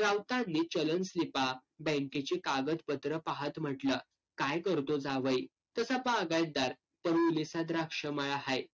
राऊतांनी चलन स्लीपा, बँकेची कागदपत्र पाहत म्हंटलं, काय करतो जावई? त्याचा बागायतदार. द्राक्ष मळा हाय.